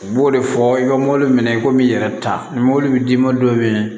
U b'o de fɔ i ka mɔbili minɛ i komi i yɛrɛ ta ni mobili bɛ d'i ma don min